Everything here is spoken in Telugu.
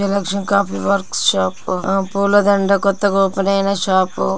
విజయలక్ష్మి కాఫీ వర్క్స్ షాప్ అ పూల దండ కొత్తగా ఓపెన్ అయిన షాప్ .